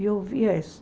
E eu ouvia isso.